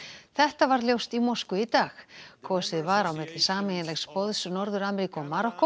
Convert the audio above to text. þetta varð ljóst í Moskvu í dag kosið var á milli sameiginlegs boðs Norður Ameríku og Marokkó